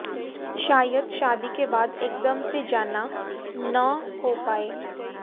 शायद शादी के बाद एकदम से जाना न हो पाए